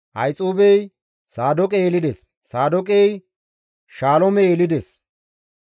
Ahixuubey Saadooqe yelides; Saadooqey Shaloome yelides;